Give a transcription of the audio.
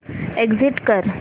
exit कर